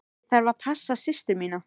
Ég þarf að passa systur mína.